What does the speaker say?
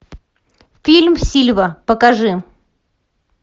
фильм сильва покажи